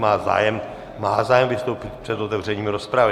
Má zájem vystoupit před otevřením rozpravy.